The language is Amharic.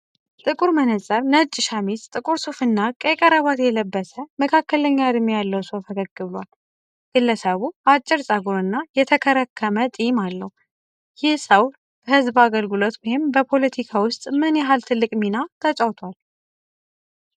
ጥቁር መነጽር፣ ነጭ ሸሚዝ፣ ጥቁር ሱፍ እና ቀይ ክራባት የለበሰ፣ መካከለኛ እድሜ ያለው ሰው ፈገግ ብሏል። ግለሰቡ አጭር ፀጉር እና የተከረከመ ጢም አለው፣ ይህ ሰው በሕዝብ አገልግሎት ወይም በፖለቲካ ውስጥ ምን ያህል ትልቅ ሚና ተጫውቷል?